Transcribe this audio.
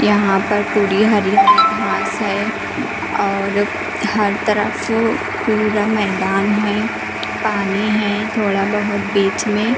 यहाँ पर पूरी हरियाली घास हैं और हर तरफ पूरा मैदान हैं। पानी हैं थोड़ा बहोत बीच में।